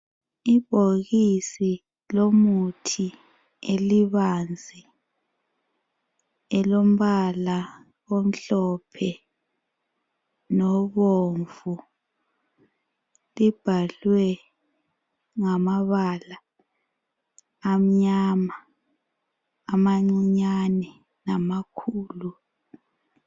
Ibhokisi lomuthi elibanzi elombala omhlophe nobomvu. Libhalwe ngamabala amnyama amancinyane namakhulu.